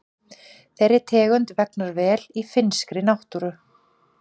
Þeirri tegund vegnar vel í finnskri náttúru.